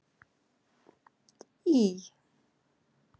Ý